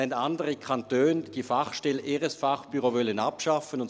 Andere Kantone haben ihre Fachstelle abschaffen wollen.